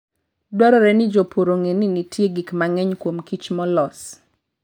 Dwarore ni jopur ong'e ni nitie gik mang'eny kuom kich molos.